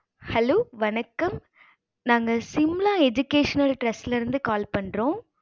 hello வணக்கம்